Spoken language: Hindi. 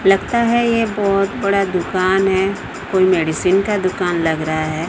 लगता है ये बहोत बड़ा दुकान है कोई मेडिसिन का दुकान लग रहा है।